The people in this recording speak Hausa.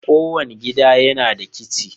Kowane gida yana da kicin.